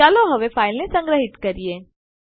ચાલો હવે ફાઈલને સંગ્રહિત કરીએ